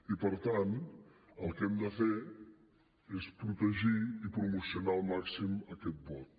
i per tant el que hem de fer és protegir i promocionar al màxim aquest vot